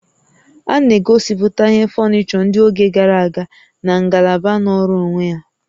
A na-egosiputa ihe fọnịchọ ndị oge gara aga na ngalaba nọọrọ onwe ya